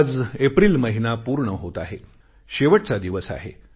आज एप्रिल महिना पूर्ण होत आहे शेवटचा दिवस आहे